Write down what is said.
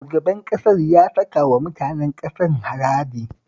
Shugaban ƙasar ya saka wa mutanen ƙasar haraji